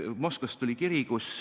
Moskvast tuli kiri.